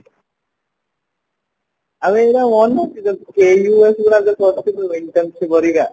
ଆବେ ଏଗୁଡା ମନେ ଅଛି ତୋର ଗୁଡ ଯୋଉ କରିଥିଲୁ intensive ଘରିକ